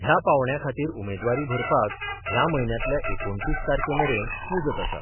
ह्या पांवड्याखातीर उमेदवारी भरपाक ह्या म्हयन्यातल्या एकुणतीस तारकेमेरेन मुजत आसा.